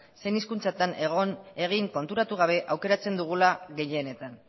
zein hizkuntzatan egin konturatu gabe aukeratzen dugula gehienetan